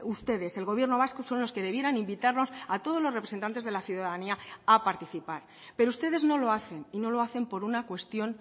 ustedes el gobierno vasco son los que debieran invitarnos a todos los representantes de la ciudadanía a participar pero ustedes no lo hacen y no lo hacen por una cuestión